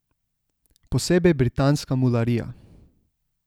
Posebej britanska mularija.